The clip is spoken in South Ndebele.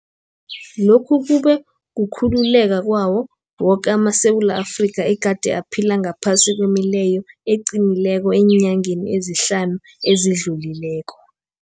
Lokhu kube kukhululeka kwawo woke amaSewula Afrika egade aphila ngaphasi kwemileyo eqinileko eenyangeni ezihlanu ezidlulileko.